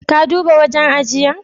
Ka duba wajen ajiyar?